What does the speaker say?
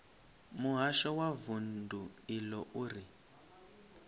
muhasho wa vundu iḽo uri